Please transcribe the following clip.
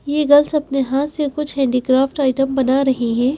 ये गर्ल्स अपने हाथ से कुछ हैंडीक्राफ्ट आइटम बना रही हैं।